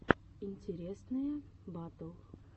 интересные батл